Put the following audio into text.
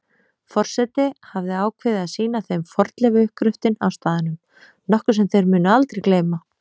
Forseti hafði ákveðið að sýna þeim fornleifauppgröftinn á staðnum, nokkuð sem þeir mundu aldrei gleyma.